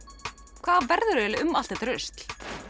hvað verður um allt þetta rusl